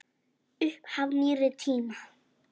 Upphaf nýrri tíma.